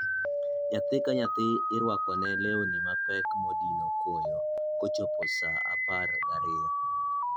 nyathi ka nyathi irwako ne lewni mapek madino koyo kochopo saa apar gariyo